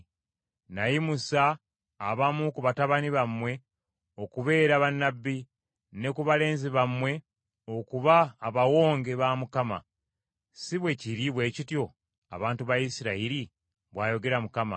“Nayimusa abamu ku batabani bammwe okubeera bannabbi, ne ku balenzi bammwe okuba Abawonge ba Mukama . Si bwe kiri bwe kityo abantu ba Isirayiri?” bw’ayogera Mukama .